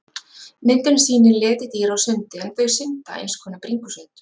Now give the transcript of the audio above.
Myndin sýnir letidýr á sundi en þau synda eins konar bringusund.